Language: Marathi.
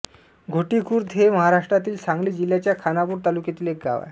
घोटी खुर्द हे महाराष्ट्रातील सांगली जिल्ह्याच्या खानापूर तालुक्यातील गाव आहे